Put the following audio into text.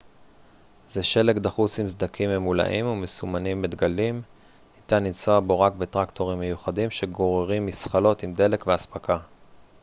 זה שלג דחוס עם סדקים ממולאים ומסומנים בדגלים ניתן לנסוע בו רק בטרקטורים מיוחדים שגוררים מזחלות עם דלק ואספקה